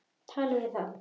Talið við þá.